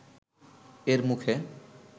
এর মুখে